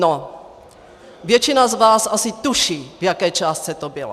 No, většina z vás asi tuší, v jaké částce to bylo.